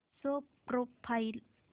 show profile